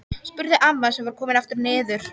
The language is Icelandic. spurði amma sem var komin aftur niður.